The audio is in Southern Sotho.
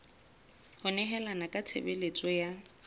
ho nehelana ka tshebeletso ya